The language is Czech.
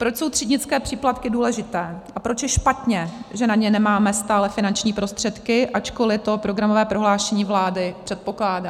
Proč jsou třídnické příplatky důležité a proč je špatně, že na ně nemáme stále finanční prostředky, ačkoliv to programové prohlášení vlády předpokládá?